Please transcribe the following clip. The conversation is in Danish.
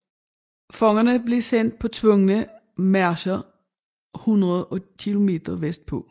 Fangerne blev sendt på tvungne marcher hundreder af kilometer vestpå